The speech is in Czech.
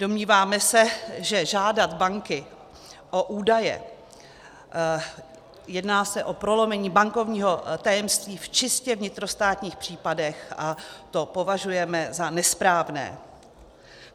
Domníváme se, že žádat banky o údaje, jedná se o prolomení bankovního tajemství v čistě vnitrostátních případech a to považujeme za nesprávné.